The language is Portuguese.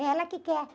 É ela que quer.